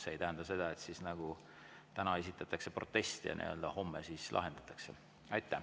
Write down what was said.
See ei tähenda seda, et täna esitatakse protest ja homme lahendatakse.